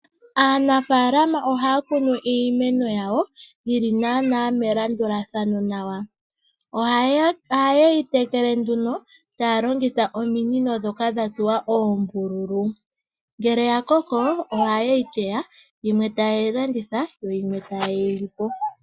Aanafalama ohaya kunu iimeno yawo yili nana melandulathano nawa, oheyi tekele nduno talongitha ominino dhoka dhatsuwa ombululu, ngele yakoko ohaye yi teya yimwe taye yilanditha yo yimwe taye yilipo.